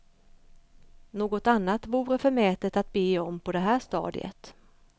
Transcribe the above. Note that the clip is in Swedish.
Något annat vore förmätet att be om på det här stadiet.